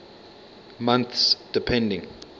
months depending